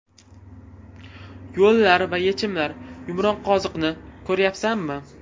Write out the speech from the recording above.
Yo‘llar va yechimlar Yumronqoziqni ko‘ryapsanmi?